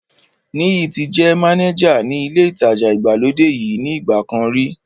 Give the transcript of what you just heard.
Níyì ti jẹ́ mánéjà ní ilé ìtajà ìgbàlódé yìí ní ìgbà kan rí